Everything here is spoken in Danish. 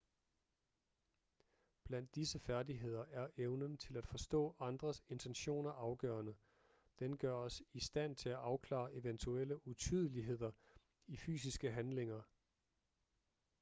blandt disse færdigheder er evnen til at forstå andres intentioner afgørende den gør os i stand til at afklare eventuelle utydeligheder i fysiske handlinger